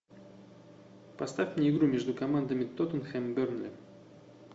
поставь мне игру между командами тоттенхэм бернли